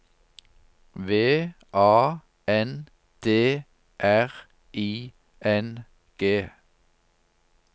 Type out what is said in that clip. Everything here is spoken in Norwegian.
V A N D R I N G